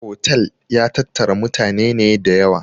Otal ya tattara mutane ne da yawa